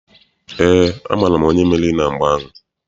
Eé, amaara m onye meriri na mgba ahụ.